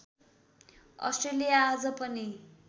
Australia आज पनि